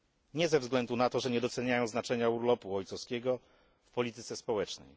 Nie ze względu na to, że nie doceniają znaczenia urlopu ojcowskiego w polityce społecznej.